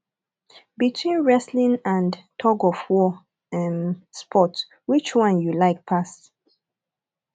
between wrestling and tugofwar um sport which one you like pass